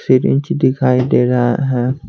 दिखाई दे रहा है।